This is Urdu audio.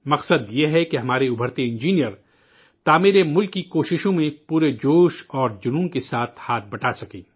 مقصد یہ ہے کہ ہمارے ابھرتے ہوئے انجینئرز ملک کی تعمیر کی کوششوں میں پورے جوش اور جذبے کے ساتھ ہاتھ بٹا سکیں